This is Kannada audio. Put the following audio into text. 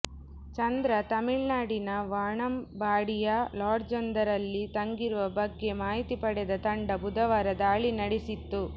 ಚಂದ್ರ ತಮಿಳುನಾಡಿನ ವಾಣಂಬಾಡಿಯ ಲಾಡ್ಜ್ವೊಂದರಲ್ಲಿ ತಂಗಿರುವ ಬಗ್ಗೆ ಮಾಹಿತಿ ಪಡೆದ ತಂಡ ಬುಧವಾರ ದಾಳಿ ನಡೆಸಿತ್ತು